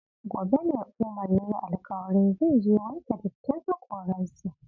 Gobe ne Umar ya yi alkawarin zai je wanke dattin hakoransa.